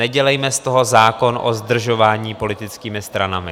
Nedělejme z toho zákon o zdržování politickými stranami.